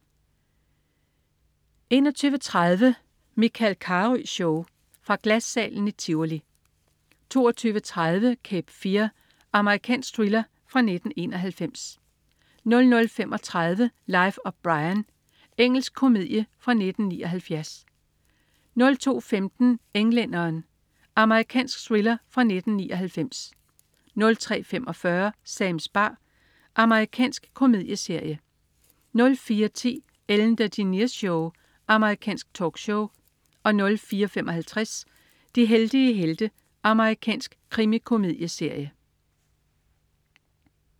21.30 Michael Carøe Show. Fra Glassalen i Tivoli 22.30 Cape Fear. Amerikansk thriller fra 1991 00.35 Life of Brian. Engelsk komedie fra 1979 02.15 Englænderen. Amerikansk thriller fra 1999 03.45 Sams bar. Amerikansk komedieserie 04.10 Ellen DeGeneres Show. Amerikansk talkshow 04.55 De heldige helte. Amerikansk krimikomedieserie